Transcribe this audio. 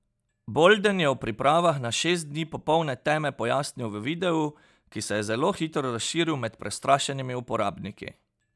Bolden je o pripravah na šest dni popolne teme pojasnil v videu, ki se je zelo hitro razširil med prestrašenimi uporabniki.